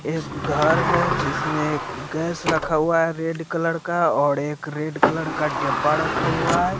एक घर है जिसमें गैस रखा हुआ है रेड कलर का और एक रेड कलर का डेब्बा रक्खा हुआ है।